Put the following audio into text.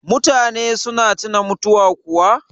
mutane suna tuna mutuwa kuwa